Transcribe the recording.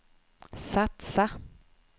satsa